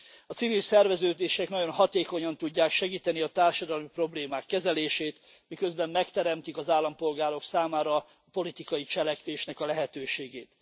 A civil szerveződések nagyon hatékonyan tudják segíteni a társadalmi problémák kezelését, miközben megteremtik az állampolgárok számára a politikai cselekvésnek a lehetőségét.